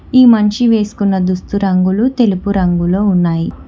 ఈ మనిషి వేసుకున్న దుస్తు రంగులు తెలుగు రంగులో ఉన్నాయి.